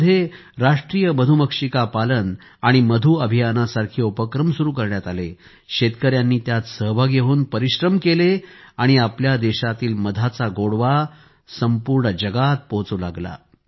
देशामध्ये राष्ट्रीय मधुमक्षिका पालन आणि मधु अभियानासारखे उपक्रम सुरु करण्यात आले शेतकऱ्यांनी त्यात सहभागी होऊन परिश्रम केले आणि आपल्या देशातील मधाचा गोडवा जगात पोहोचू लागला